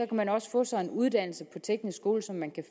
man også få sig en uddannelse på teknisk skole som man kan